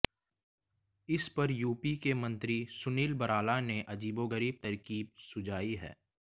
इस पर यूपी के मंत्री सुनील भराला ने अजीबोगरीब तरकीब सुझाई है